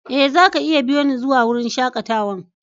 Eh, za ka iya biyo ni zuwa wurin shakatawan.